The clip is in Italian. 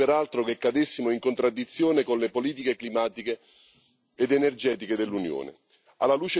Non vorrei peraltro che cadessimo in contraddizione con le politiche climatiche ed energetiche dell'Unione.